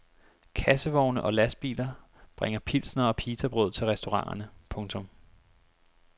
Kassevogne og lastbiler bringer pilsnere og pitabrød til restauranterne. punktum